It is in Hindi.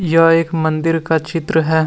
यह एक मंदिर का चित्र है।